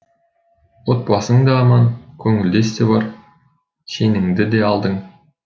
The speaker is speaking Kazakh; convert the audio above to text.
отбасың да аман көңілдес те бар шеніңді де алдың